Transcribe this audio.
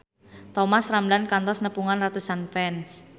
Thomas Ramdhan kantos nepungan ratusan fans